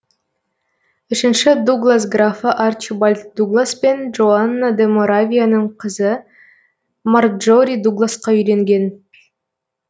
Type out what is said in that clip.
үшінші дуглас графы арчибальд дуглас пен джоанна де моравияның қызы марджори дугласқа үйленген